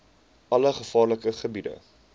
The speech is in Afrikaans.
alle gevaarlike gebiede